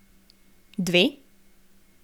Dve?